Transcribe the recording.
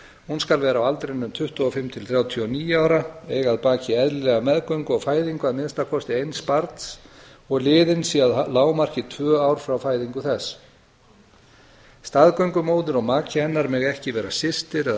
hún skal vera á aldrinum tuttugu og fimm til þrjátíu og níu ára eiga að baki eðlilega meðgöngu og fæðingu að minnsta kosti eins barns og liðin séu að lágmarki tvö ár frá fæðingu þess staðgöngumóðir og maki hennar mega ekki vera systir eða